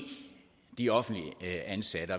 de offentligt ansatte